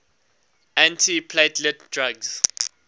antiplatelet drugs